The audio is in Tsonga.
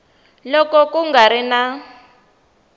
loko ku nga ri na